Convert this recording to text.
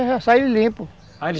já sai limpo